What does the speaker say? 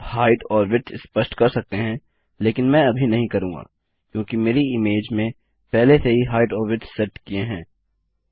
आप हाईट और विड्थ स्पष्ट कर सकते हैं लेकिन मैं अभी नहीं करूँगा क्योंकि मेरी इमेज में पहले से ही हाईट और विड्थ सेट किए हैं